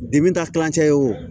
ka kilancɛ ye wo